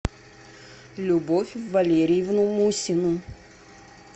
любовь валерьевну мусину